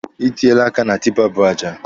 Ị tiela aka na tipa bu aja.